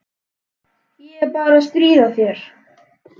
Ég er bara að stríða þér.